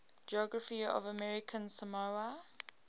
geography of american samoa